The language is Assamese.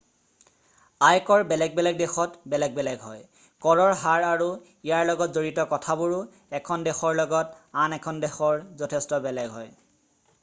আয়কৰ বেলেগ বেলেগ দেশত বেলেগ বেলেগ হয় কৰৰ হাৰ আৰু ইয়াৰ লগত জড়িত কথাবোৰো 1খন দেশৰ লগত আন এখন দেশৰ যথেষ্ট বেলেগ হয়